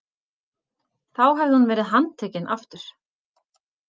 Þá hefði hún verið handtekin aftur.